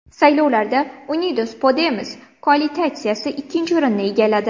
Saylovlarda Unidos Podemos koalitsiyasi ikkinchi o‘rinni egalladi.